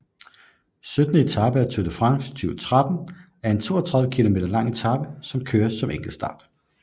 Syttende etape af Tour de France 2013 er en 32 km lang etape der køres som en enkeltstart